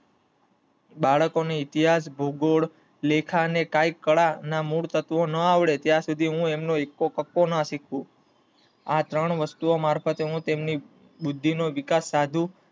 બાળક ને ઇતિહાસ, ભૌગોલકાલા, લેખા ના મૂળતત્વો ના આવડે ત્યાં શુદ્ધિ હું તેમનો એક્કો કક્કો ના સીખુ. , આ ત્રણ વસ્તુ મારફતે હું એમની બુદ્ધિ નો વિકાસ સાધુ